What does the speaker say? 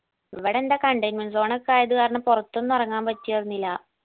ഇവടെ എന്താ containment zone ഒക്കെ ആയത് കാരണം പൊറത്തൊന്നും എറങ്ങാൻ പറ്റിയിരുന്നില്ല